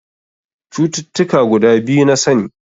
Cututtuka guda biyu na sani.